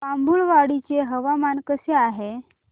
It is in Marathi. बाभुळवाडी चे हवामान कसे आहे